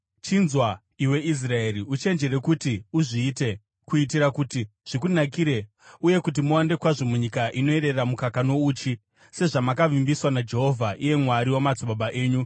Chinzwa, iwe Israeri, uchenjere kuti uzviite kuitira kuti zvikunakire uye kuti muwande kwazvo munyika inoyerera mukaka nouchi, sezvamakavimbiswa naJehovha, iye Mwari wamadzibaba enyu.